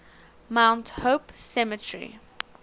mount hope cemetery